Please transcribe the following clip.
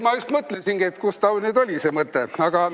Ma just mõtlesingi, et kus ta nüüd oli see mõte.